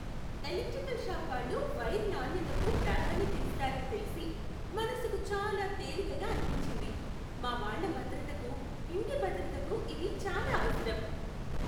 Electrical shop వాళ్ళు wire నాణ్యతకు ప్రాధాన్యత ఇస్తారని తెలిసి మనసుకు చాలా తేలికగా అనిపించింది. మా వాళ్ళ భద్రతకు, ఇంటి భద్రతకు ఇది చాలా అవసరం.